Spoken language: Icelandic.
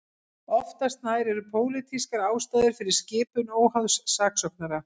Oftast nær eru pólitískar ástæður fyrir skipun óháðs saksóknara.